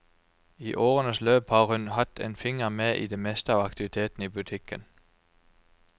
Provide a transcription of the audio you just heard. I årenes løp har hun hatt en finger med i det meste av aktivitetene i butikken.